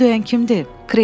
Qapını döyən kimdir?”